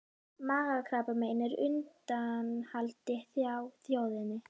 Magakrabbamein er á undanhaldi hjá þjóðinni.